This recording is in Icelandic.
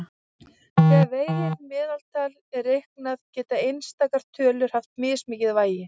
Þegar vegið meðaltal er reiknað geta einstakar tölur haft mismikið vægi.